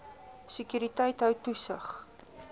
sekuriteit hou toesig